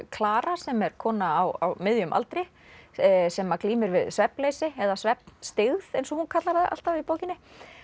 Klara sem er kona á miðjum aldri sem að glímir við svefnleysi eða eins og hún kallar það alltaf í bókinni